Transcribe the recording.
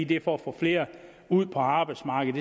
det er for at få flere ud på arbejdsmarkedet